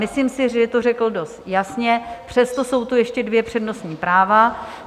Myslím si, že to řekl dost jasně, přesto tu jsou ještě dvě přednostní práva.